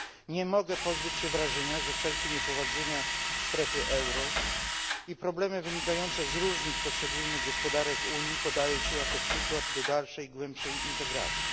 Nie mogę pozbyć się wrażenia, że wszelkie niepowodzenia strefy euro i problemy wynikające z różnic w poszczególnych gospodarkach Unii podaje się jako przykład dalszej głębszej integracji.